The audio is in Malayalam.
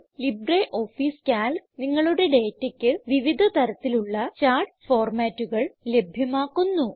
ലിബ്രിയോഫീസ് കാൽക്ക് നിങ്ങളുടെ ഡേറ്റയ്ക്ക് വിവിധ തരത്തിലുള്ള ചാർട്ട് ഫോർമാറ്റുകൾ ലഭ്യമാക്കുന്നു